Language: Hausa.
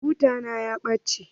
Buta na ya ɓace.